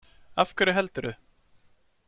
Af hverju heldurðu?